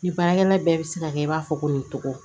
Ni baarakɛla bɛɛ bɛ se ka kɛ i b'a fɔ ko nin cogo